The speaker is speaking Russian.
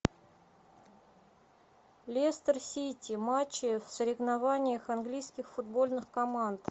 лестер сити матчи в соревнованиях английских футбольных команд